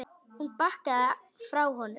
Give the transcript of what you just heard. Hún bakkaði frá honum.